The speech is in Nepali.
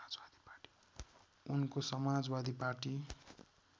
उनको समाजवादी पार्टी